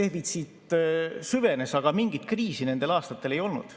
defitsiit süvenes, aga mingit kriisi nendel aastatel ei olnud.